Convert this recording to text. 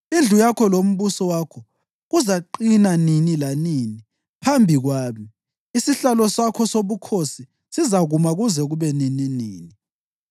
Indlu yakho lombuso wakho kuzaqina nini lanini phambi kwami; isihlalo sakho sobukhosi sizakuma kuze kube nininini.’ ”